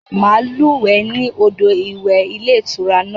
Màá lúwè ẹ́ ní odò ìwẹ̀ ilé ìtura náà